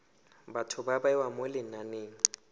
batho ba bewa mo lenaneng